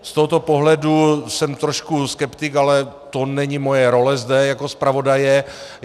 Z tohoto pohledu jsem trošku skeptik, ale to není moje role zde jako zpravodaje.